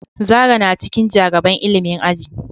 Zara na cikin ja gaban ilimin aji.